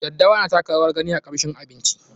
Daddawa na taka rawar gani a kamshin abinci.